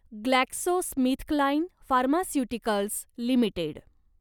GlaxoSmithKline pharmaceuticals limited